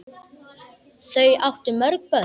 Þau áttu mörg börn.